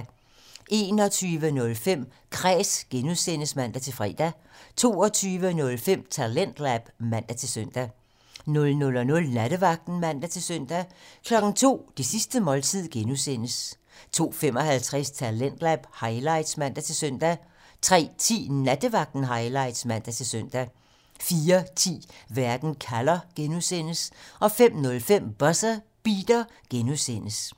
21:05: Kræs (G) (man-fre) 22:05: Talentlab (man-søn) 00:00: Nattevagten (man-søn) 02:00: Det sidste måltid (G) (man) 02:55: Talentlab highlights (man-søn) 03:10: Nattevagten Highlights (man-søn) 04:10: Verden kalder (G) (man) 05:05: Buzzer Beater (G) (man)